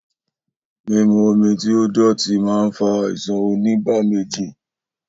Mímu omi tí ó dòtí ma ń fa àìsàn onígbáméjì